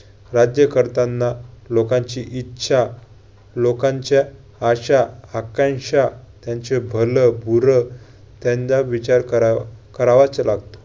राज्यकर्त्यांना लोकांची इच्छा, लोकांच्या आशा, आकांक्षा, त्यांचे भलं-बुरं त्यांना विचार कराव~ करावाच लागतो.